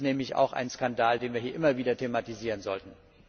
Das ist nämlich auch ein Skandal, den wir hier immer wieder thematisieren sollten.